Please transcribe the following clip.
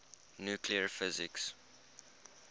nuclear physics